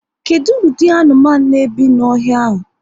Kedụ ụdị anụmanụ n'ebi n'ọhịa ahụ?